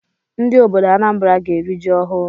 Ndị obodo Anambra ga-eri ji ọhụụ